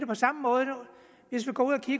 på samme måde hvis vi går